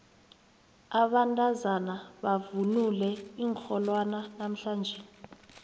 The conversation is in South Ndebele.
abantazana bavunule iinrholwana namhlanje